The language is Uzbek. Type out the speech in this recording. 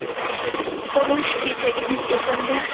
Urush kechagidek esimda.